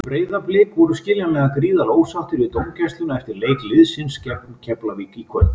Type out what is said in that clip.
Breiðablik voru skiljanlega gríðarlega ósáttir við dómgæsluna eftir leik liðsins gegn Keflavík í kvöld.